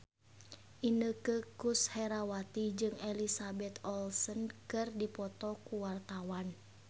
Inneke Koesherawati jeung Elizabeth Olsen keur dipoto ku wartawan